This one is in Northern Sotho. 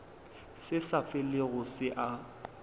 se sa felego se a